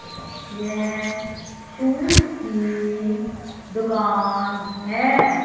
यह शूज की दुकान हैं।